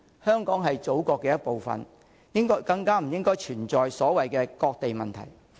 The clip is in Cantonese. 香港是祖國的一部分，更不應該存在所謂"割地"問題。